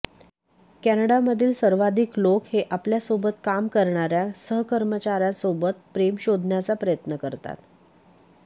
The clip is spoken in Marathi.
कॅनडामधील सर्वाधिक लोक हे आपल्या सोबत काम करणाऱ्या सहकर्मचाऱ्यासोबत प्रेम शोधण्याचा प्रयत्न करतात